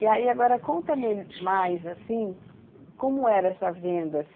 E aí, agora, conta-me mais, assim, como era essa venda?